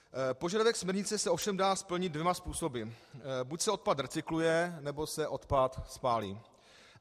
Požadavek směrnice se ovšem dá splnit dvěma způsoby - buď se odpad recykluje, nebo se odpad spálí.